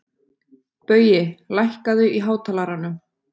Baui, lækkaðu í hátalaranum.